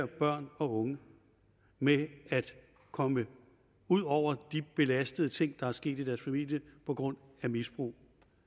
børn og unge med at komme ud over de belastende ting der er sket i deres familie på grund af misbrug